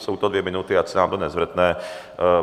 Jsou to dvě minuty, ať se nám to nezvrtne.